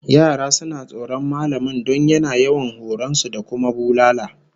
Yara suna tsoron mallamin don yana yawan horon su da kuma bulala